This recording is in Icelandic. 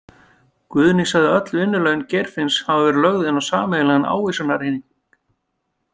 Guðný sagði öll vinnulaun Geirfinns hafa verið lögð inn á sameiginlegan ávísanareikning.